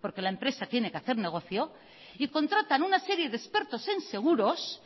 porque la empresa tiene que hacer negocio y contratan una serie de expertos en seguros